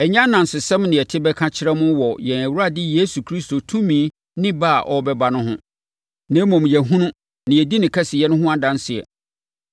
Ɛnyɛ anansesɛm na yɛte bɛka kyerɛɛ mo wɔ yɛn Awurade Yesu Kristo tumi ne ba a ɔrebɛba no ho, na mmom, yɛahunu na yɛdi ne kɛseyɛ no ho adanseɛ.